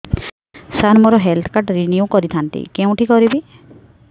ସାର ମୋର health card renew କରିଥାନ୍ତି କେଉଁଠି କରିବି